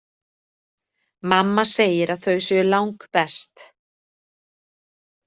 Mamma segir að þau séu langbest.